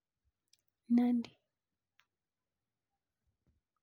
Nandi